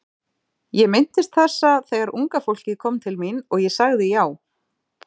Ég minntist þessa þegar unga fólkið kom til mín og ég sagði já.